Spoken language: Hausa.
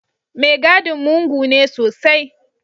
Mai gadin mugu ne sosai.